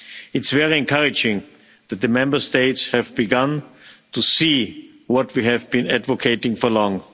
It's very encouraging that the Member States have begun to see what we have been advocating for so long.